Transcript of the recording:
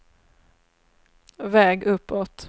väg uppåt